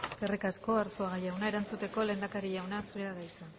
eskerrik asko arzuaga jauna erantzuteko lehendakari jauna zurea da hitza